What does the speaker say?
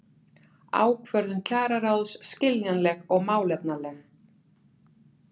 Ákvörðun kjararáðs skiljanleg og málefnaleg